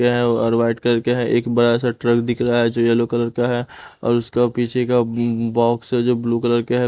के है और वाइट कलर के है एक बड़ा सा ट्रक दिख रहा है जो यल्लो कलर का है और उसका पीछे का अअ बॉक्स है जो ब्लू कलर के है.